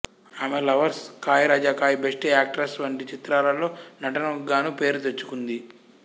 ఆమె లవర్స్ కాయ్ రాజా కాయ్ బెస్ట్ యాక్టర్స్ వంటి చిత్రాలలో నటనకుగాను పేరు తెచ్చుకుంది